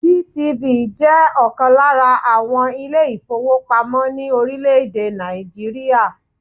GTB jẹ́ ọ̀kan lára àwọn ilé-ìfowópamọ́ ní orílẹ̀-èdè Nàìjíríà.